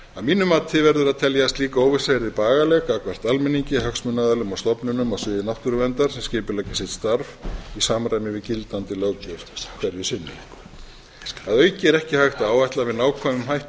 mínu mati verður að telja að slík óvissa yrði bagaleg gagnvart almenningi hagsmunaaðilum og stofnunum á sviði náttúruverndar skipuleggja sitt starf í samræmi við gildandi löggjöf hverju sinni að auki er ekki hægt að áætla með nákvæmum hætti